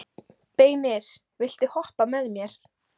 Beinir, viltu hoppa með mér?